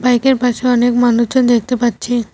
বাইকের পাশে অনেক মানুষজন দেখতে পাচ্ছি।